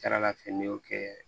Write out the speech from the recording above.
Kɛr'a fɛ n'i y'o kɛ